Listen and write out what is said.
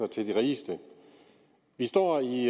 til de rigeste vi står i